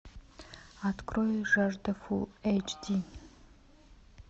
открой жажда фулл эйч ди